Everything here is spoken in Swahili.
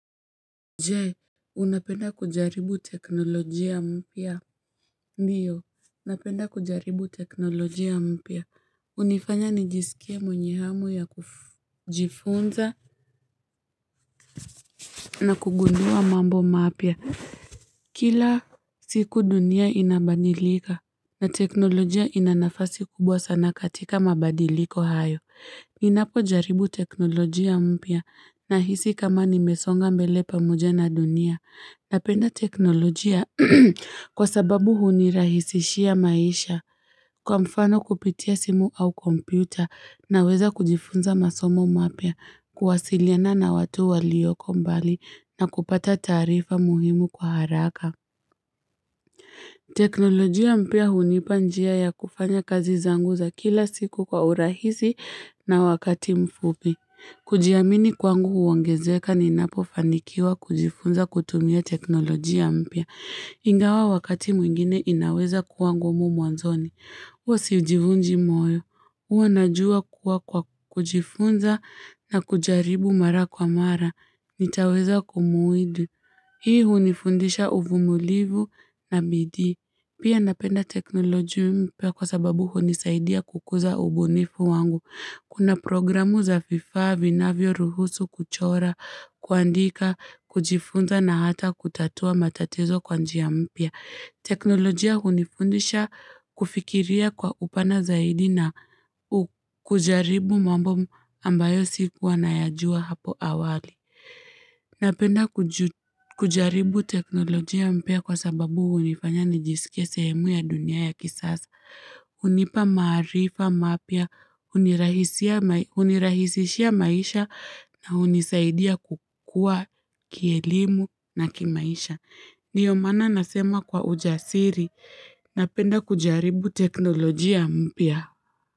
Je unapenda kujaribu teknolojia mpya Ndiyo napenda kujaribu teknolojia mpya hunifanya nijisikie mwenye hamu ya kujifunza na kugundua mambo mapya Kila siku dunia inabadilika na teknolojia ina nafasi kubwa sana katika mabadiliko hayo Ninapojaribu teknolojia mpya nahisi kama nimesonga mbele pamoja na dunia Napenda teknolojia kwa sababu hunirahisishia maisha kwa mfano kupitia simu au kompyuta naweza kujifunza masomo mapya kuwasiliana na watu walioko mbali na kupata taarifa muhimu kwa haraka. Teknolojia mpya hunipa njia ya kufanya kazi zangu za kila siku kwa urahisi na wakati mfupi. Kujiamini kwangu huongezeka ninapofanikiwa kujifunza kutumia teknolojia mpya. Ingawa wakati mwingine inaweza kuwa ngumu mwanzoni. Huwa sijivunji moyo. Huwa najua kuwa kwa kujifunza na kujaribu mara kwa mara. Nitaweza kumuidu. Hii hunifundisha uvumulivu na bidii. Pia napenda teknolojia mpya kwa sababu hunisaidia kukuza ubunifu wangu. Kuna programu za vifaa, vinavyoruhusu kuchora, kuandika, kujifunza na hata kutatua matatizo kwa njia mpya. Teknolojia hunifundisha kufikiria kwa upana zaidi na kujaribu mambo ambayo sikua nayajua hapo awali. Napenda kujaribu teknolojia mpya kwa sababu hunifanya nijisikie sehemu ya dunia ya kisasa, hunipa maarifa mapya, hunirahisishia maisha na hunisaidia kukua kielimu na kimaisha. Ndiyo maana nasema kwa ujasiri, napenda kujaribu teknolojia mpya.